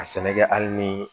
A sɛnɛ kɛ hali ni